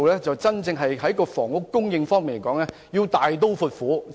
在房屋供應方面，當局必須大刀闊斧。